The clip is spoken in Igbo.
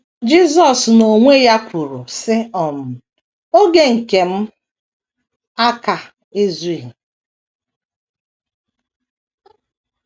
Jisọs n’onwe ya kwuru, sị: um “ Oge nke m aka - ezughị. ”